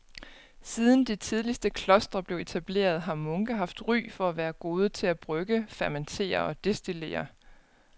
Siden de tidligste klostre blev etableret har munke haft ry for at være gode til at brygge, fermentere og destillere.